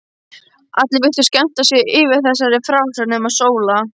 Allir virtust skemmta sér yfir þessari frásögn nema Sóla.